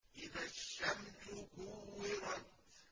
إِذَا الشَّمْسُ كُوِّرَتْ